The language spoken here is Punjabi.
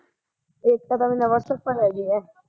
ਏਕਤਾ ਤਾਂ ਮੇਰੇ ਨਾਲ਼ ਵਟਸਐਪ ਪਰ ਹੈਗੀ ਐ